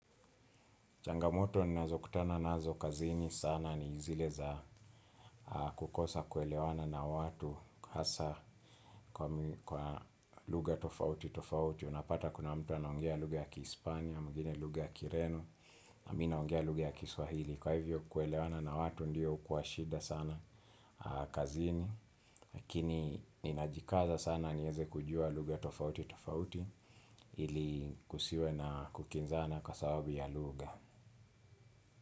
Changamoto ninazo kutananazo kazini sana ni zile za kukosa kuelewana na watu hasa kwa lugha tofauti tofauti. Unapata kuna mtu anaongea lugha ya Kihispania, mwingine lugha ya Kireno, na mimi ninaongea lugha ya Kiswahili. Kwa hivyo kuelewana na watu ndiyo hukuashida sana kazini. Lakini ninajikaza sana niweze kujua lugha tofauti tofauti ili kusiwe na kukinzana kwa sababu ya lugha.